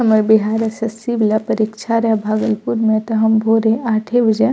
हमार बिहार एस.एस.सी. वाला परीक्षा रहे भागलपुर में त हम भोरे आठे बजे --